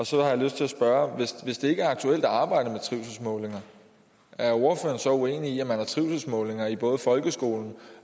så har jeg lyst til at spørge hvis det ikke er aktuelt at arbejde med trivselsmålinger er ordføreren så uenig i at man har trivselsmålinger i både folkeskolen